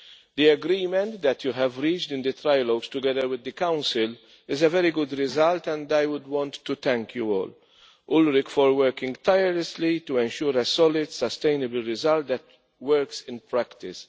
The agreement that you have reached in the trilogues together with the Council is a very good result, and I would like to thank you all for working tirelessly to ensure a solid, sustainable result that works in practice.